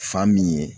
Fa min ye